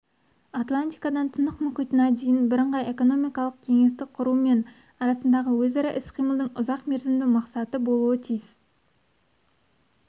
атлантикадан тынық мұхитына дейін бірыңғай экономикалық кеңістік құру мен арасындағы өзара іс-қимылдың ұзақмерзімді мақсаты болуы тиіс